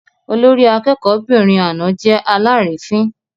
Olórí akẹ́kọ̀ọ́'bìnrin àná jẹ́ alárìífín.